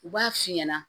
U b'a f'i ɲɛna